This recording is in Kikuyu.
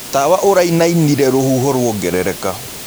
Tawa ũraĩnaĩnĩre rũhũho rwongerereka.